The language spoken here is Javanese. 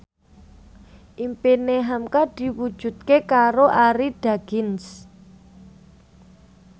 impine hamka diwujudke karo Arie Daginks